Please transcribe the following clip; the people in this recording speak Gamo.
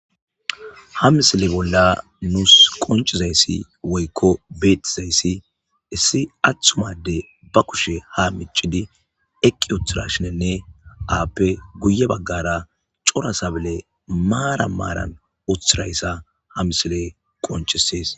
Ha misile bolla nuus qoncizayssi woykko beetizayssi issi aththumade ba kushe ha micidi eqqi uthirashinenne aappe guye baggara cora sabale maara maaran uthirayssa ha misile qoncisees.